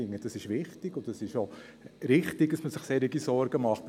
Ich finde, das ist wichtig, und es ist auch richtig, dass man sich solche Sorgen macht.